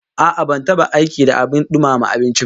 A'a, ban taba aiki da abin dumama abinci ba